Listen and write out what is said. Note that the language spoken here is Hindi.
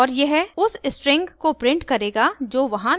और यह उस string को प्रिंट करेगा जो वहां निर्दिष्ट है